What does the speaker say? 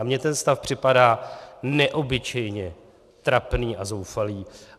A mně ten stav připadá neobyčejně trapný a zoufalý.